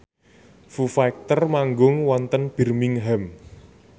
Foo Fighter manggung wonten Birmingham